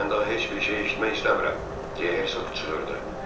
Mən daha heç bir şey eşitmək istəmirəm, – deyə Herk çığırdı.